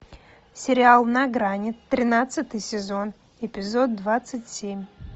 сериал на грани тринадцатый сезон эпизод двадцать семь